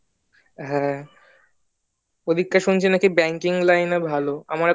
হ্যাঁ ওদিকে শুনেছি নাকি bank line ভালো